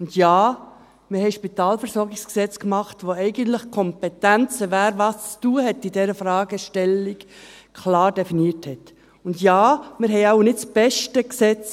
Ja, wir haben ein Spitalversorgungsgesetz (SpVG) gemacht, das eigentlich die Kompetenzen, wer in dieser Fragestellung was zu tun hat, klar definiert, und ja, wir haben wohl nicht das beste Gesetz.